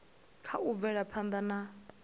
kha u bvela phanda na